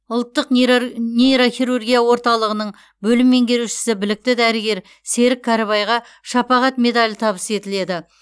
ұлттық нейрохирургия орталығының бөлім меңгерушісі білікті дәрігер серік кәрібайға шапағат медалі табыс етіледі